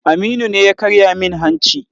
Aminu ne ya karya min hanci.